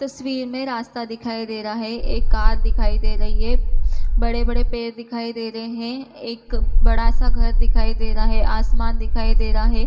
तस्वीर में रास्ता दिखाई दे रहा है एक कार दिखाई दे रही है बड़े-बड़े पेड़ दिखाई दे रहे है एक बड़ा-सा घर दिखाई रहा है आसमान दिखाई दे रहा है।